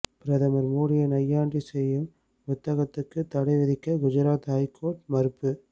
பிரதமர் மோடியை நையாண்டி செய்யும் புத்தகத்துக்கு தடை விதிக்க குஜராத் ஐகோர்ட் மறுப்பு